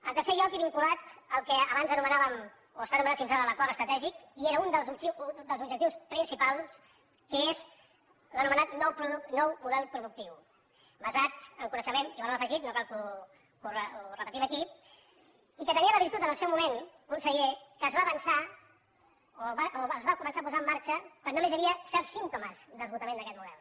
en tercer lloc i vinculat al que abans anomenàvem o s’ha anomenat fins ara l’acord estratègic i era un dels objectius principals que és l’anomenat nou model productiu basat en coneixement i valor afegit no cal que ho repetim aquí i que tenia la virtut al seu moment conseller que es va avançar o es va començar a posar en marxa quan només hi havia certs símptomes d’esgotament d’aquest model